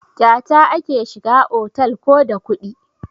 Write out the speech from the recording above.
Kyata ake shiga otal ko da kuɗi?